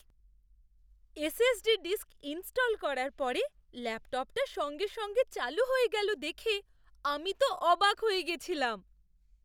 SSD disk install করার পরে ল্যাপটপটা সঙ্গে সঙ্গে চালু হয়ে গেল দেখে আমি তো অবাক হয়ে গেছিলাম।